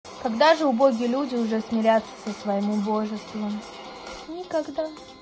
когда же убогие люди уже смиряться со своим убожеством никогда